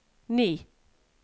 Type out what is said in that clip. ni